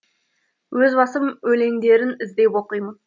өз басым өлеңдерін іздеп оқимын